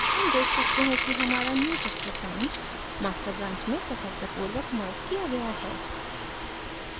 हम देख सकते हैं कि हमारा newchapter branch master branch में सफलतापूर्वक merged किया गया है